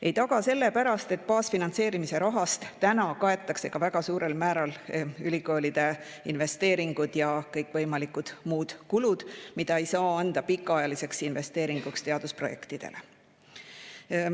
Ei taga sellepärast, et baasfinantseerimise rahast kaetakse ka väga suurel määral ülikoolide investeeringud ja kõikvõimalikud muud kulud, mida ei saa suunata pikaajalisteks investeeringuteks teadusprojektidele.